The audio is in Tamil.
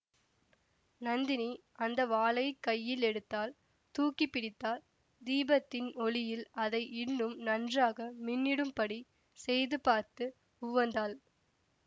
நந்தினி அந்த வாளைக் கையில் எடுத்தாள் தூக்கி பிடித்தாள் தீபத்தின் ஒளியில் அதை இன்னும் நன்றாக மின்னிடும்படி செய்து பார்த்து உவந்தாள்